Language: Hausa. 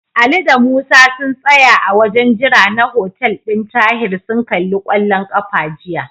Ali da Musa sun tsaya a wajen jira na hotel ɗin Tahir sun kalli kwallon ƙafa jiya.